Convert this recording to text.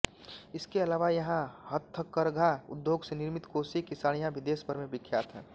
इसके अलावा यहाँ हथकरघा उद्योग से निर्मित कोसे की साड़ियाँ भी देशभर में विख्यात है